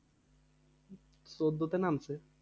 চোদ্দতে নামছে।